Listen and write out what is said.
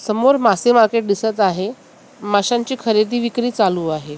समोर मासे मार्केट दिसत आहे माशांची खरेदी विक्री चालू आहे.